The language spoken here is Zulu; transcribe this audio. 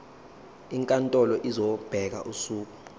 inkantolo izobeka usuku